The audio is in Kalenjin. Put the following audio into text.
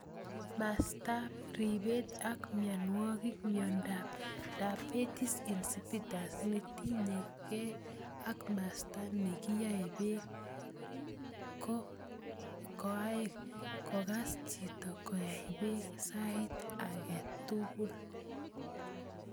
Mastap ripet ak mionwek: Miondop Diabetes insipidus ne tinye gei ak maste ne kiae pek ko ae kokas chito ko ai peek sait age tugul.